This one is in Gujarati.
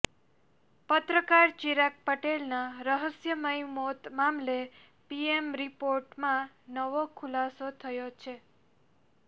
પત્રકાર ચિરાગ પટેલના રહસ્યમય મોત મામલે પીએમ રિપોર્ટમાં નવો ખુલાસો થયો છે